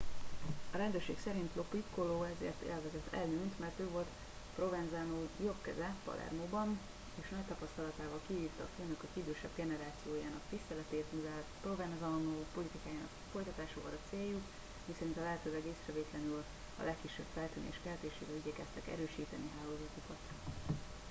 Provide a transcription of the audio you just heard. a rendőrség szerint lo piccolo azért élvezett előnyt mert ő volt provenzano jobbkeze palermóban és nagy tapasztalatával kivívta a főnökök idősebb generációjának tiszteletét mivel provenzano politikájának folytatása volt a céljuk miszerint a lehetőleg észrevétlenül a legkisebb feltűnés keltésével igyekeztek erősíteni hálózatukat